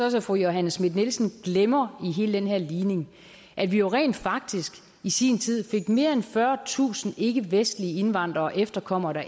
også at fru johanne schmidt nielsen glemmer i hele den her ligning at vi jo rent faktisk i sin tid fik mere end fyrretusind ikkevestlige indvandrere og efterkommere